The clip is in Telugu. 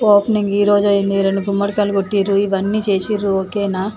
ఓపెనింగ్ ఈ రోజు అయింది రెండు గుమ్మడికాయ కొట్టిండు ఇవన్నీ చేసిర్రు ఒక్ న